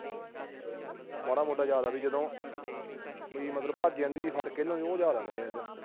ਮਾੜਾ ਮੋਟਾ ਯਾਦ ਆ ਵੀ ਜਦੋਂ ਵੀ ਜਦੋਂ ਭੱਜ ਜਾਂਦੀ ਸੀ, ਫੜ ਕੇ ਲਿਆਉਂਦੇ ਸੀ, ਉਹ ਯਾਦ ਆ ਮੇਰੇ।